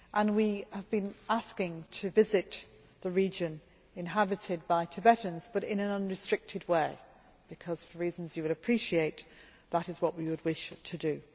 We have been asking to visit the region inhabited by Tibetans, but in an unrestricted way, because for reasons that you will appreciate, that is what we would wish to do.